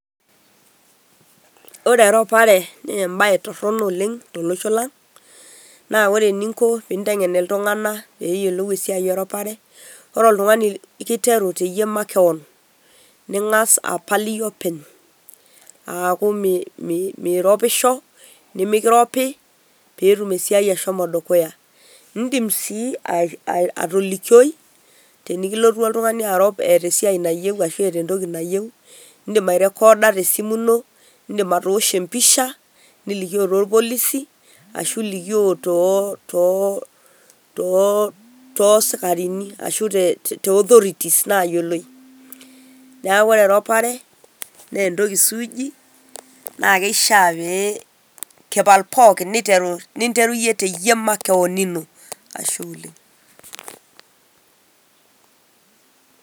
Ore eropare naa ebae torrono oleng' tolosho lang', naa ore ening'o tenint'eng'en iltung'anak pee eyiolou esiai eropare ore iltung'anak keiteru teyie makewan pee Ing'as apal iyie openy' aaku miropisho, nemekiropi peetum esiai ashomo dukuya. Iidim sii atolikioi tenikilotu oltung'ani arop eeta esiai nayieu arashu entoki nayieu indiim airekoda eirorita, eedim atoosho empisha niripoot tolpolisi ashu elikio too too too sikarini ashu too authorities nayioloe. Neeku ore eropare naa entoki suuji naa keifaa nekipal pookin ninteru iyie teyie makewan.